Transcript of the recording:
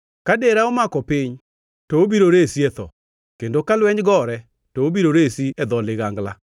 Ka dera omako piny, to obiro resi e tho, kendo ka lweny gore to obiro resi e dho ligangla.